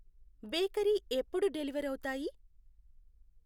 Bakery ఎప్పుడు deliver అవుతాయి?